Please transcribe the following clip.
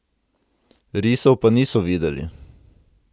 Risov pa niso videli!